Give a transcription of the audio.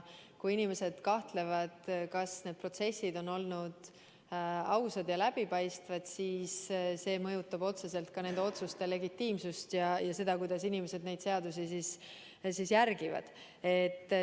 Kui inimesed kahtlevad, kas need protsessid on olnud ausad ja läbipaistvad, siis see mõjutab otseselt ka nende otsuste legitiimsust ja seda, kuidas inimesed seadusi järgivad.